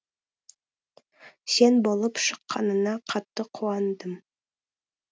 сен болып шыққаныңа қатты қуандым